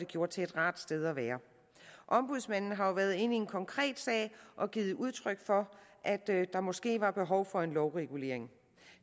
gjort til et rart sted at være ombudsmanden har jo været inde i en konkret sag og givet udtryk for at der måske var behov for en lovregulering